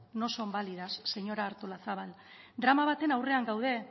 no son válidas señora artolazabal drama baten aurrean gaude